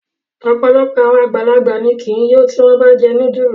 Ọpọlọpọ awọn agbalagba ki i yo ti wọn ba jẹ nudulu